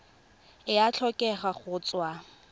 e a tlhokega go tswa